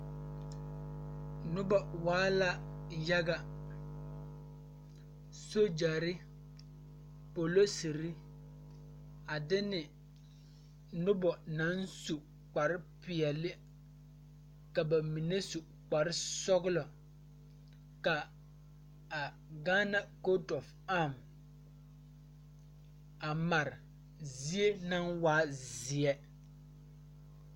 Nobɔ waa la yaga sogyɛre polosire a de ne nobɔ naŋ su kpare peɛle ka ba mine su kparesɔglɔ ka a gaana koote of arm a mare zie naŋ waa zeɛl lɛ.